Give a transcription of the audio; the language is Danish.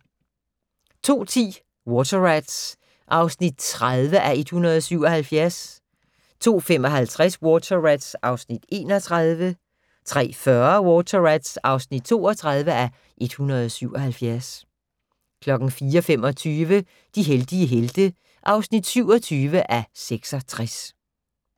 02:10: Water Rats (30:177) 02:55: Water Rats (31:177) 03:40: Water Rats (32:177) 04:25: De heldige helte (27:66)